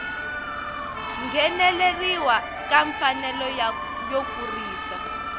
ngheneleriwa ka mfanelo yo kurisa